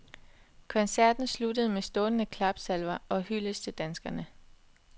Koncerten sluttede med stående klapsalver og hyldest til danskerne.